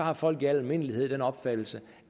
at folk i almindelighed ikke har den opfattelse